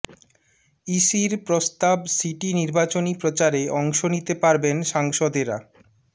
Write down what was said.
ইসির প্রস্তাব সিটি নির্বাচনী প্রচারে অংশ নিতে পারবেন সাংসদেরা